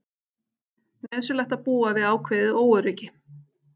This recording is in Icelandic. Nauðsynlegt að búa við ákveðið óöryggi